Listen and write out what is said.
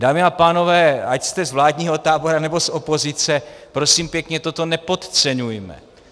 Dámy a pánové, ať jste z vládního tábora, nebo z opozice, prosím pěkně, toto nepodceňujme.